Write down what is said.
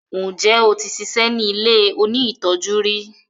njé o tí ṣiṣẹ ní ilẹ òní tọjú rí?